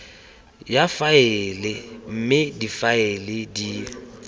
ya faele mme difaele di